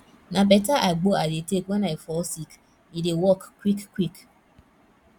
na beta agbo i dey take wen i fall sick e dey work quick quick